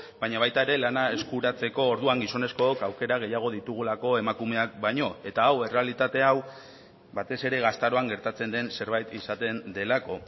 baina baita ere lana eskuratzeko orduan gizonezkook aukera gehiago ditugulako emakumeak baino eta hau errealitate hau batez ere gaztaroan gertatzen den zerbait izaten delako